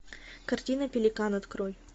картина пеликан открой